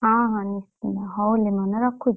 ହଁ ହଁ ନିଶ୍ଚିନ୍ତ। ହଉ ଲିମନ ରଖୁଛି।